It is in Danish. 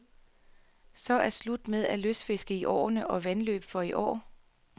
Så er slut med at lystfiske i åer og vandløb for i år.